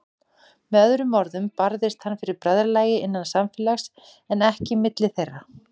Með öðrum orðum barðist hann fyrir bræðralagi, innan samfélags, en ekki milli þeirra.